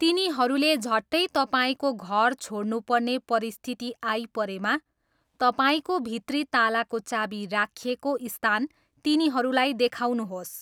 तिनीहरूले झट्टै तपाईँको घर छोड्नुपर्ने परिस्थिति आइपरेमा, तपाईँको भित्री तालाको चाबी राखिएको स्थान तिनीहरूलाई देखाउनुहोस्।